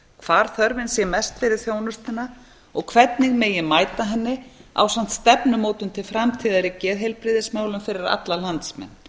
hvar þörfin sé mest fyrir þjónustuna og hvernig megi mæta henni ásamt stefnumótun til framtíðar í geðheilbrigðismálum fyrir alla landsmenn